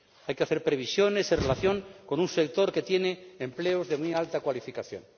Hay que hacer previsiones en relación con un sector que tiene empleos de muy alta cualificación.